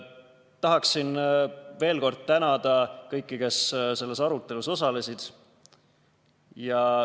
Tahan veel kord tänada kõiki, kes selles arutelus osalesid.